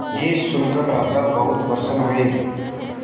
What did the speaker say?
यह सुनकर राजा बहुत प्रसन्न हुए